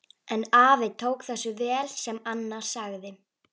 En afi tók þessu vel sem Anna sagði.